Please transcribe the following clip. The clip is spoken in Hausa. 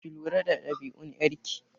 Ki lura da ɗabi'un ƴar ki!